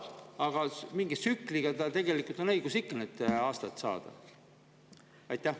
Aga mingi tsükli tal tegelikult on õigus ikka saada.